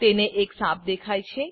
તેને એક સાપ દેખાય છે